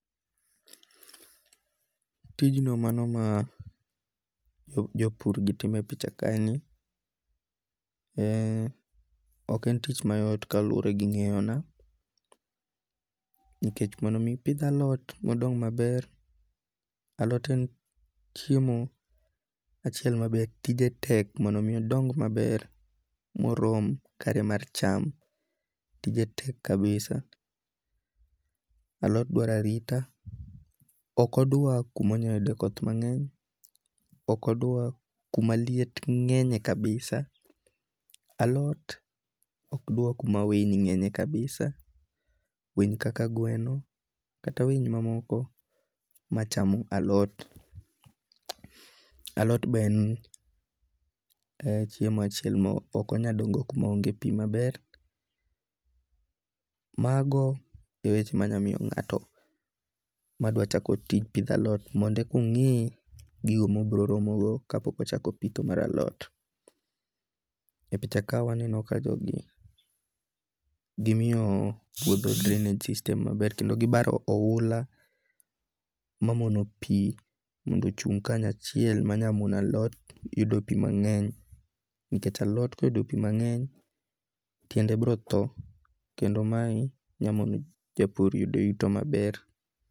Tijno mano mar jo pur e picha kaeni, ok en tich mayot kaluore gi nge'yona, nikech mondo mi ipith alot mandong' maber, alot en chiemo achiel ma be tije tek mondo mi ondong' maber morom kare mar cham tije tek kabisa, alot dwaro arita , okodwa kuma onya yude koth nge'nye, okdwa kumaliet nge'nye kabisa, alot okdwar kuma winy nge''nye kabisa, winy kaka gweno kata winy mamoko machamo alot, alot be en chiemo achiel mo okonyal dongo kuma onge pi maber, mago e weche ma anyalo miyo nga'to ma dwa tich pitho alot mondo ekongi' gigo ma obiro romogo kapoko pitho mara lot, e picha ka waneno ka jogie gimio puotho drainage system maber kendo gibaro ohula mamono pi mondo ochung' kanyo achiel manyamono alot yudo pi mang'ny, nikech alot koyudo pi mangeny tiende brotho kendo mae nyamono japur yudo yuto maber.